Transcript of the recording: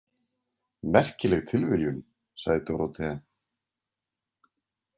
Merkileg tilviljun, sagði Dórótea.